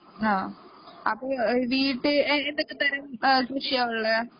ആ അപ്പോ വീട്ടിൽ ഏതൊക്ക തരം കൃഷിയാ ഉള്ളെ